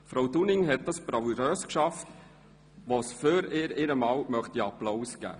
Frau Dunning hat dies bravourös geschafft, wofür wir ihr gern einen Applaus schenken.